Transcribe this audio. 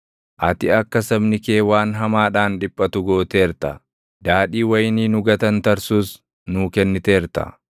Ati akka sabni kee waan hamaadhaan dhiphatu gooteerta; daadhii wayinii nu gatantarsus nuu kenniteerta.